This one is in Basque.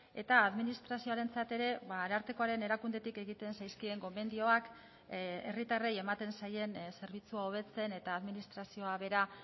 eta administrazioarentzat ere arartekoaren erakundetik egiten zaizkien gomendioak herritarrei ematen zaien zerbitzua hobetzen eta administrazioa bera